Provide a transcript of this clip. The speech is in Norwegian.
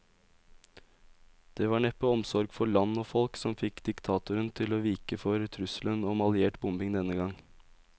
Det var neppe omsorg for land og folk som fikk diktatoren til å vike for trusselen om alliert bombing denne gang.